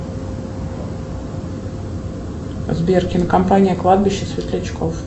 сбер кинокомпания кладбище светлячков